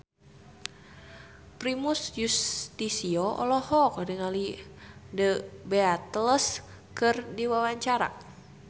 Primus Yustisio olohok ningali The Beatles keur diwawancara